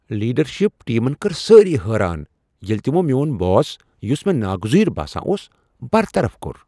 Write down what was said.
Leadership ٹیمن کٔرۍ سٲری حٲران ییِلہ تِمو میون باس، یُس مےٚ ناگزیر باسان اوس، برطرف کوٚر۔